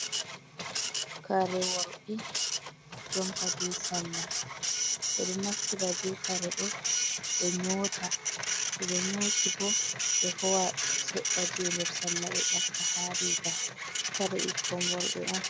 Kare worɓe jompa be salla ɓeɗo naftira be kare ɗo ɓe nyota to ɓe nyoti bo ɓe howa seɗɗa je nder salla ɓe ɓaka ha riga kare ɓikkon worɓe on.